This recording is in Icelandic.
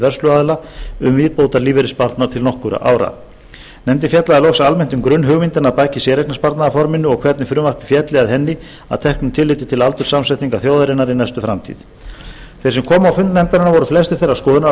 vörsluaðila um viðbótarlífeyrissparnað til nokkurra ára nefndin fjallaði loks almennt um grunnhugmyndina að baki séreignarsparnaðarforminu og hvernig frumvarpið félli að henni að teknu tilliti til aldurssamsetningar þjóðarinnar í næstu framtíð þeir sem komu á fund nefndarinnar voru flestir þeirrar skoðunar að